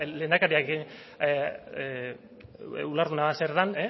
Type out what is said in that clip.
lehendakaria ulertuta zer den